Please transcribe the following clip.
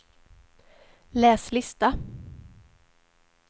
läs lista